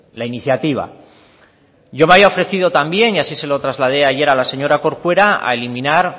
la iniciativa yo me había ofrecido también y así se lo trasladé ayer a la señora corcuera a eliminar